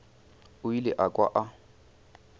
o ile a kwa a